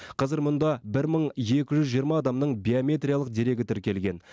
қазір мұнда бір мың екі жүз жиырма адамның биометриялық дерегі тіркелген